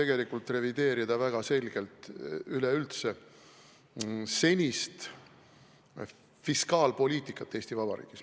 Valitsus kavatseb väga selgelt tegelikult revideerida senist fiskaalpoliitikat Eesti Vabariigis.